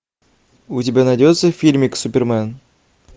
у тебя найдется фильмик супермен